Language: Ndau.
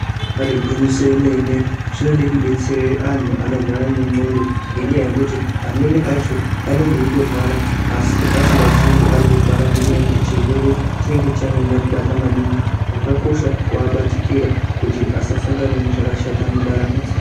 Ribaari gwinyiso remene zvinode kudetsera antu anorwara ngendxondo ngenyaya yekuti amweni acho anenge eitorwara asi asingazii kuti arikurwara ngenyaya yekuti chirwere chinenge chanyanya kubata maningi. Zvakakosha kuvabatikira kuti vasasangane nezvakashata mundaramo dzavo.